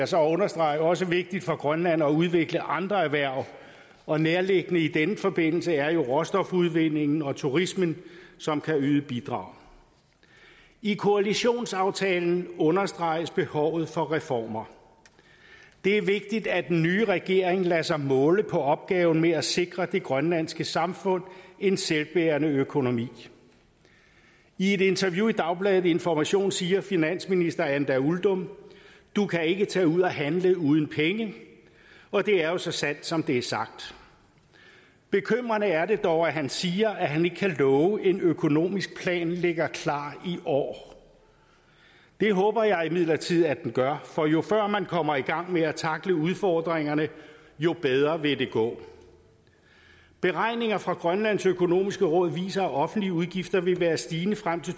så understrege også vigtigt for grønland at udvikle andre erhverv og nærliggende i denne forbindelse er jo råstofudvindingen og turismen som kan yde bidrag i koalitionsaftalen understreges behovet for reformer det er vigtigt at den nye regering lader sig måle på løsningen af opgaven med at sikre det grønlandske samfund en selvbærende økonomi i et interview i dagbladet information siger finansminister anda uldum du kan ikke tage ud at handle uden penge og det er jo så sandt som det er sagt bekymrende er det dog at han siger at han ikke kan love at en økonomisk plan ligger klar i år det håber jeg imidlertid at den gør for jo før man kommer i gang med at tackle udfordringerne jo bedre vil det gå beregninger fra grønlands økonomiske råd viser at de offentlige udgifter vil være stigende frem til